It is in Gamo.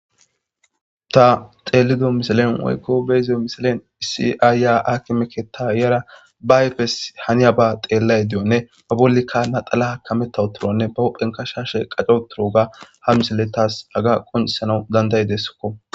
Ta xeelido misalen woykko beyzo misalen issi aayya akimeketa iara ba ayfes haniya ba xeellay diyonne ba bollikka naxala kamettawu turonne ba hophenka shashe qaco turoga ha misale taas aga qonisanau danday dessokko.